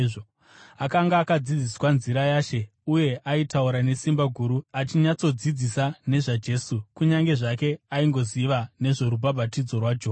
Akanga akadzidziswa nzira yaShe, uye aitaura nesimba guru achinyatsodzidzisa nezvaJesu, kunyange zvake aingoziva nezvorubhabhatidzo rwaJohani.